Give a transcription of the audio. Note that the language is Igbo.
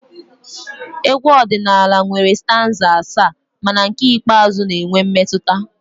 Egwu ọdịnala nwere stanza asaa mana nke ikpeazụ na-enwe mmetụta